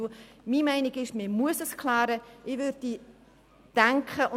Ich bin der Meinung, dass man es klären muss.